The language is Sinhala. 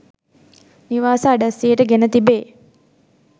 නිවාස අඩස්සියට ගෙන තිබේ.